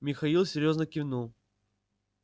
михаил серьёзно кивнул